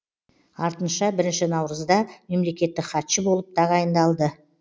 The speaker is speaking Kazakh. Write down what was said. артынша бірінші наурызда мемлекеттік хатшы болып тағайындалды